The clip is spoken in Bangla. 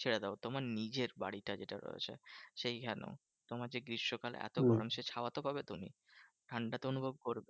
ছেড়ে দাও তোমার নিজের বাড়িটা যেটা রয়েছে সেই খানেও। তোমার যে গ্রীষ্মকালে এত গরম সে ছাওয়াতো পাবে তুমি। ঠান্ডা তো অনুভব করবে।